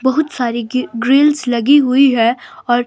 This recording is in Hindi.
बहुत सारी ग्रिल्स लगी हुई है और---